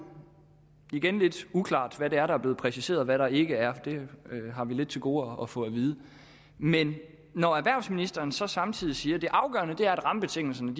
igen lidt uklart hvad det er der er blevet præciseret og hvad der ikke er det har vi lidt til gode at få at vide men når erhvervsministeren så samtidig siger at det afgørende er at rammebetingelserne